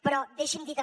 però deixi’m dir també